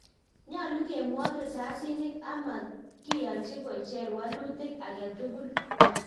Nyalu kemwog risasinik ak matkiyanji kocher walutik agetugul